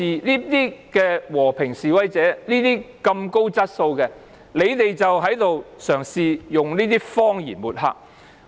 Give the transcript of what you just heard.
如此和平、高質素的示威者，你們卻嘗試用謊言抹黑。